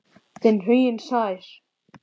Þinn, Huginn Sær.